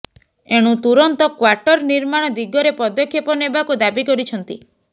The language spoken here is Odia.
ଏଣୁ ତୁରନ୍ତ କ୍ୱାଟର ନିର୍ମାଣ ଦିଗରେ ପଦକ୍ଷେପ ନେବାକୁ ଦାବି କରିଛନ୍ତି